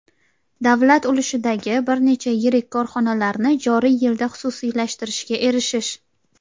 davlat ulushidagi bir necha yirik korxonalarni joriy yilda xususiylashtirishga erishish;.